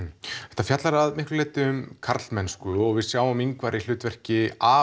þetta fjallar að miklu leyti um karlmennsku og við sjáum Ingvar í hlutverki